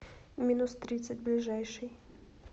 минус тридцать ближайший